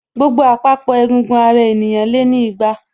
Gbogbo àpapọ̀ egungun ara ènìyàn lé ní igba